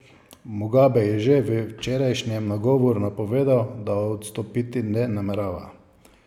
Mugabe je že v včerajšnjem nagovoru napovedal, da odstopiti ne namerava.